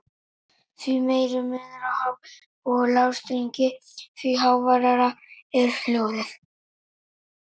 Því meiri munur á há- og lágþrýstingi, því háværara er hljóðið.